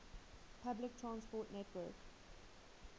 public transport network